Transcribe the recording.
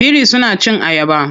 Biri suna cin ayaba.